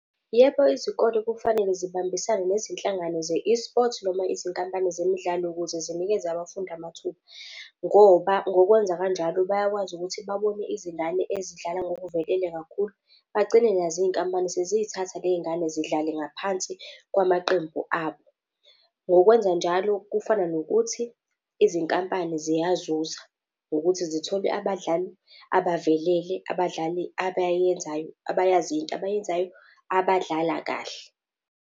Yebo, izikole kufanele zibambisane nezinhlangano ze-eSport noma izinkampani zemidlalo ukuze zinikeze abafundi amathuba. Ngoba ngokwenza kanjalo bayakwazi ukuthi babone izingane ezidlala ngokuvelele kakhulu, bagcine nazo iy'nkampani seziy'thatha le y'ngane zidlale ngaphansi kwamaqembu abo. Ngokwenzanjalo, kufana nokuthi izinkampani ziyazuza ngokuthi zithole abadlali abavelele, abadlali abayenzayo, abayaziyo into abayenzayo abadlala kahle.